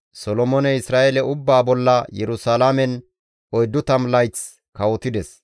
Solomooney Isra7eele ubbaa bolla Yerusalaamen 40 layth kawotides.